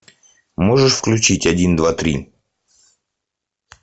можешь включить один два три